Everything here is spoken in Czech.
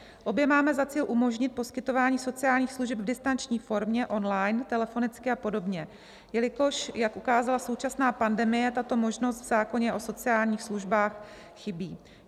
Obě máme za cíl umožnit poskytování sociálních služeb v distanční formě, online, telefonicky a podobně, jelikož jak ukázala současná pandemie, tato možnost v zákoně o sociálních službách chybí.